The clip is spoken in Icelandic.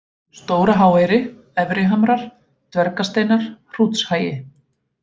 Stóra-Háeyri, Efri-Hamrar, Dvergasteinar, Hrútshagi